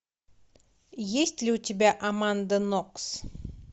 есть ли у тебя аманда нокс